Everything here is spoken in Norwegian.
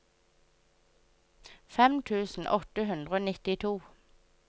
fem tusen åtte hundre og nittito